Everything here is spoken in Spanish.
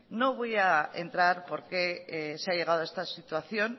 no voy a entrar por qué se ha llegado a esta situación